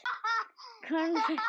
Konfekt með.